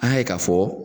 An y'a ye k'a fɔ